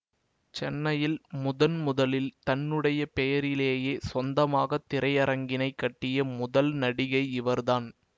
சென்னையில் முதன் முதலில் தன்னுடைய பெயரிலேயே சொந்தமாக திரையரங்கினைக் கட்டிய முதல் நடிகை இவர்தான்